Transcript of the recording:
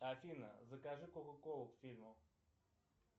афина закажи кока колу к фильму